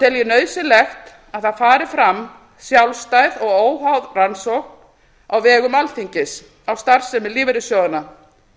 tel ég nauðsynlegt að það fari fram sjálfstæð og óháð rannsókn á vegum alþingis á starfsemi lífeyrissjóðanna